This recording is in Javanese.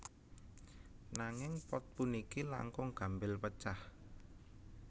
Nanging pot puniki langkung gampil pecah